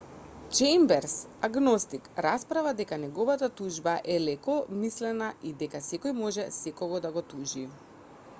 чејмберс агностик расправа дека неговата тужба е лекомислена и дека секој може секого да го тужи